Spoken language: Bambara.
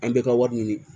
An bɛ ka wari ɲini